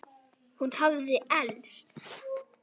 Hún hafði elst.